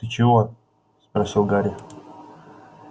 ты чего спросил гарри